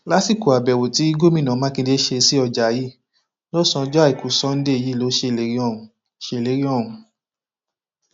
lásìkò àbẹwò tí gómìnà mákindè ṣe sí ọjà yìí lọsànán ọjọ àìkú sanńdé yìí ló ṣèlérí ọhún ṣèlérí ọhún